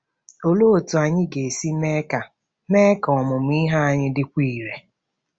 Olee otú anyị ga-esi mee ka mee ka ọmụmụ ihe anyị dịkwuo irè?